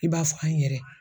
I b'a fɔ an yɛrɛ.